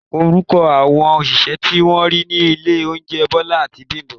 Orúkọ àwọn òṣìṣẹ́ tí wọ́n rí ní ilé oúnjẹ Bisola àti Bimbo